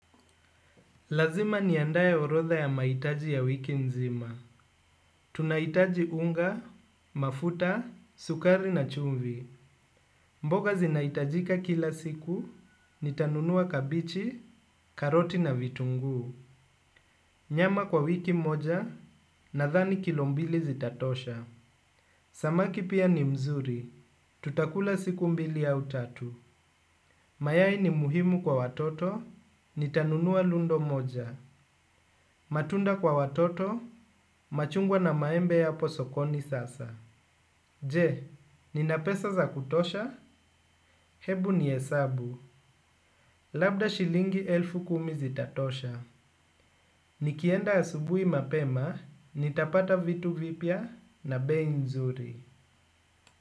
Lazima niandae orodha ya mahitaji ya wiki nzima. Tunahitaji unga, mafuta, sukari na chumvi. Mboga zinahitajika kila siku, nitanunua kabichi, karoti na vitunguu. Nyama kwa wiki moja, nadhani kilo mbili zitatosha. Samaki pia ni mzuri, tutakula siku mbili au tatu. Mayai ni muhimu kwa watoto, nitanunua lundo moja. Matunda kwa watoto, machungwa na maembe hapo sokoni sasa. Je, nina pesa za kutosha, hebu nihesabu. Labda shilingi elfu kumi zitatosha. Nikienda asubuhi mapema, nitapata vitu vipya na bei nzuri.